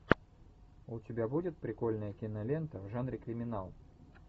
у тебя будет прикольная кинолента в жанре криминал